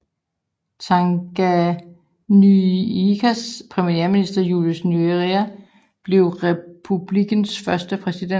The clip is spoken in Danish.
Tanganyikas premierminister Julius Nyerere blev republikkens første præsident